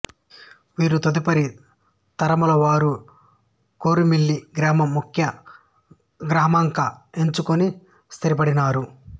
వీరి తదుపరి తరముల వారు కోరుమిల్లి గ్రామం ముఖ్య గ్రామంగ ఎంచుకొని స్థిరపడినారు